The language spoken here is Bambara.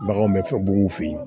Baganw bɛ fɛn bugunw fe yen